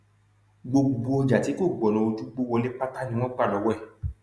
gbogbo ọjà tí kò gbọnà ojúgbó wọlé pátá ni wọn gbà lọwọ ẹ